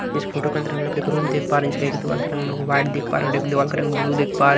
इस फोटो के अंदर हम लोग एक रूम देख पा रहे हैं इसका एक दीवाल का रंग हम लोग वाइट देख पा रहे और एक दीवाल का रंग ब्लू देख पा --